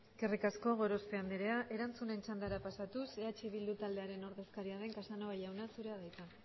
eskerrik asko gorospe andrea erantzunen txandara pasatuz eh bildu taldearen ordezkaria den casanova jauna zurea da hitza